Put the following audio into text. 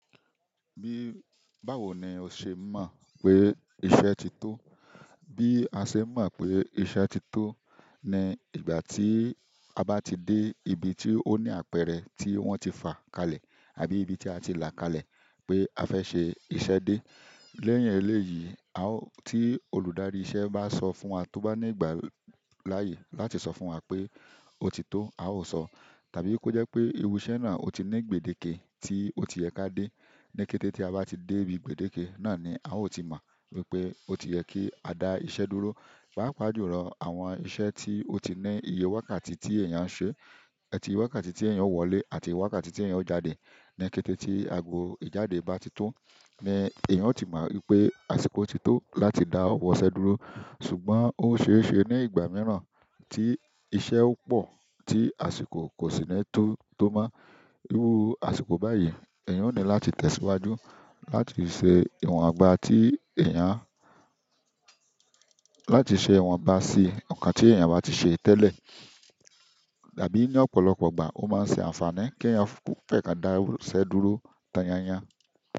Bí, báwo ni o ṣe mọ̀ pé iṣẹ́ ti tó? Bí a ṣe n mọ̀ pé iṣẹ́ ti tó ni ìgbà tí a bá ti dé ibi tí ó ní àpẹẹrẹ tí wọ́n ti fà kalẹ̀ àbí ibi tí a ti là kalẹ̀ pé a fẹ́ ṣe iṣẹ́ dé. Lẹ́ẹ̀yin eléyìí, a o tí olùdarí iṣẹ́ bá sọ fún wa to ba le gbà láàyè láti sọ fún wa pé ó ti tó, a ó sọ. Tàbí kó jẹ́ pé irú iṣẹ́ náà ó ti ní gbèdéke tí ó ti yẹ ká dé, ní kété tí a bá ti dé ibi gbèdéke náà ni a ó ti mọ̀ wípé ó ti yẹ kí a dá iṣẹ́ dúró. Páápàá jù lọ, àwọn iṣẹ́ tí ó ti ní iye wákàtí tí èèyàn ń ṣe, ẹ ti wákàtí tí èèyàn ó wọlé àti wákàtí tí èèyàn ó jáde. Ni kété tí àgbo ìjáde bá ti tó, ní èèyàn ó ti mọ̀ wípé àsìkò ti tó láti dá ọwọ́ iṣẹ́ dúró. Ṣùgbọ́n ó ṣe é ṣe ní ìgbà mìíràn tí iṣẹ́ ó pò, tí àsìkò kò sì ní tó to mọ́. Irú àsìkò báyìí, èèyàn o ní láti tẹ̀síwájú láti ṣe ìwọ̀n gbá tí èèyàn, láti ṣe ìwọ̀n ba sí nǹkan tí èèyàn bá ti ṣe tẹ́lẹ̀. Àbí ní ọ̀pọ̀lọpọ̀ ìgbà ó máa ń ṣe àǹfààní kí èèyàn fẹ́ kán dá iṣẹ́ dúró tán yán yán.